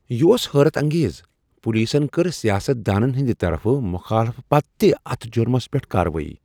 یہ اوس حیرت انگیز، پولیسن کٔر سیاست دانن ہنٛد طرفہٕ مخالفت پتہٕ تہ اتھ جرمس پیٹھ کاروٲیی۔